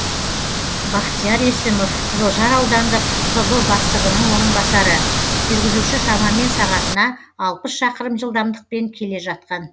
бахтияр есімов қызылжар аудандық пб бастығының орынбасары жүргізуші шамамен сағатына шақырым жылдамдықпен келе жатқан